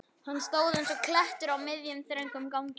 Hann stóð eins og klettur á miðjum, þröngum ganginum.